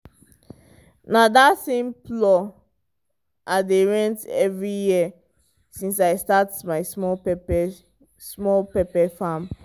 na that same plow i dey rent every year since i start my small pepper small pepper farm.